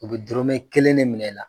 U bɛ dɔrɔmɛ kelen de minɛ i la